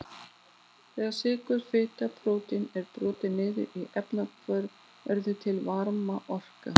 Þegar sykur, fita og prótín eru brotin niður í efnahvörfum verður til varmaorka.